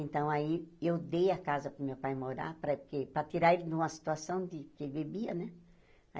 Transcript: Então, aí, eu dei a casa para o meu pai morar, para quê para tirar ele de uma situação de que bebia, né?